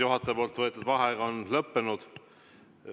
Juhataja võetud vaheaeg on lõppenud.